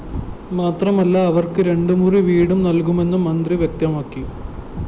മാത്രമല്ല അവര്‍ക്ക് രണ്ടുമുറി വീടും നല്‍കുമെന്ന് മന്ത്രി വ്യക്തമാക്കി